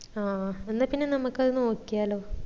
ആ എന്നാ പിന്ന നമ്മക്ക് അത് നോക്കിയാലോ